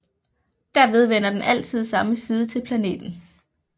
Derved vender den altid samme side til planeten